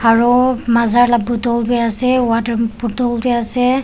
aru maaza lah bottle bhi ase water bottle bhi ase.